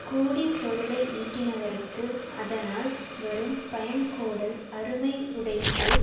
கோடி பொருளை யீட்டினவர்க்கும் அதனால் வரும் பயன்கோடல் அருமையுடைத்து